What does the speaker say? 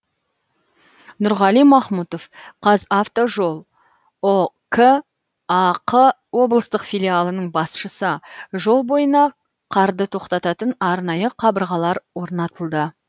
нұрғали махмұтов қазавтожол ұк ақ облыстық филиалының басшысы жол бойына қарды тоқтататын арнайы қабырғалар орнатылды